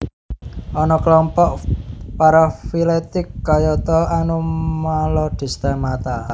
Ana kelompok parafiletik kayata Anomalodesmata